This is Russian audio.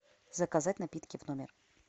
заказать напитки в номер